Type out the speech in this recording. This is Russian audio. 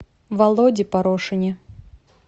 володе порошине